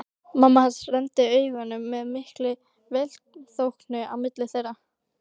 Mamma hans renndi augunum með mikilli velþóknun á milli þeirra.